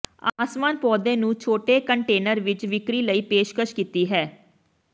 ਆਸਮਾਨ ਪੌਦੇ ਨੂੰ ਛੋਟੇ ਕੰਟੇਨਰ ਵਿੱਚ ਵਿਕਰੀ ਲਈ ਪੇਸ਼ਕਸ਼ ਕੀਤੀ ਹੈ